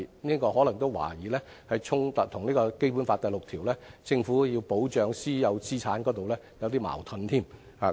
我亦懷疑這可能與《基本法》第六條"香港特別行政區依法保護私有財產權"有所衝突和矛盾。